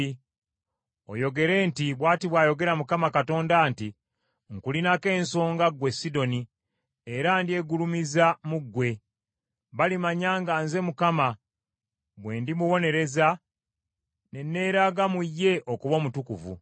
oyogere nti, ‘Bw’ati bw’ayogera Mukama Katonda nti, “ ‘Nkulinako ensonga, ggwe Sidoni, era ndyegulumiza mu ggwe. Balimanya nga nze Mukama bwe ndimubonereza, ne neeraga mu ye okuba omutukuvu.